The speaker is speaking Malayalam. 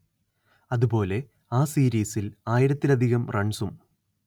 അതുപോലെ ആ സീരീസിൽ ആയിരത്തിലധികം റൺസും